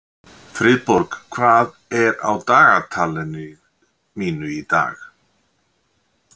Friðborg, hvað er á dagatalinu mínu í dag?